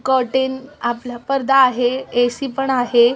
Cotton आपला पडदा आहे ए.सी. पण आहे.